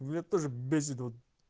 бля тоже бесит вот